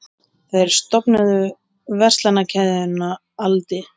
Þeir stofnuðu verslanakeðjuna Aldi.